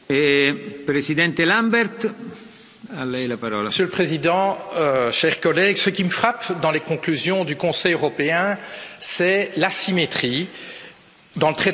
Monsieur le Président, chers collègues, ce qui me frappe dans les conclusions du Conseil européen, c'est l'asymétrie dans le traitement des cas biélorusse, chinois, russe et turc.